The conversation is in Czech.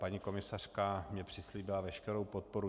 Paní komisařka mi přislíbila veškerou podporu.